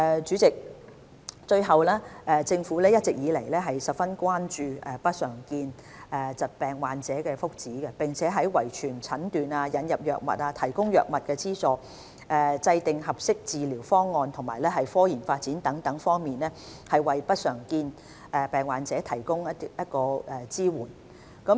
主席，最後，政府一直以來十分關注不常見疾病患者的福祉，並在遺傳診斷、引入藥物、提供藥物資助、制訂合適治療方案及科研發展等多方面，為不常見疾病患者提供支援。